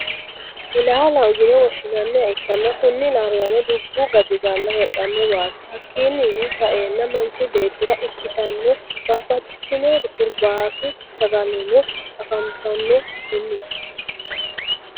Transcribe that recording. Ilaalaho yinne woshinannha ikanna kunni ilaaliranno dubu gaxigala hedhanowati hakinno saena manichi bettira ikkitanno babaxittinno hurobbatu saagalanno afaninnittanno kuunni .